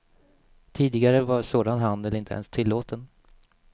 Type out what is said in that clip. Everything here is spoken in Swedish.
Tidigare var sådan handel inte ens tilllåten.